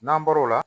N'an bɔr'o la